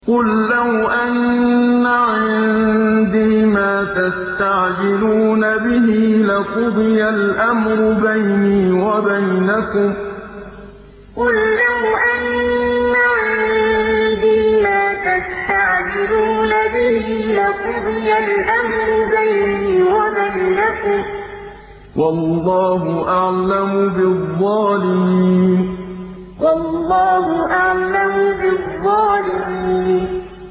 قُل لَّوْ أَنَّ عِندِي مَا تَسْتَعْجِلُونَ بِهِ لَقُضِيَ الْأَمْرُ بَيْنِي وَبَيْنَكُمْ ۗ وَاللَّهُ أَعْلَمُ بِالظَّالِمِينَ قُل لَّوْ أَنَّ عِندِي مَا تَسْتَعْجِلُونَ بِهِ لَقُضِيَ الْأَمْرُ بَيْنِي وَبَيْنَكُمْ ۗ وَاللَّهُ أَعْلَمُ بِالظَّالِمِينَ